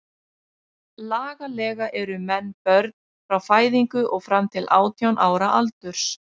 Lagalega eru menn börn frá fæðingu og fram til átján ára aldurs.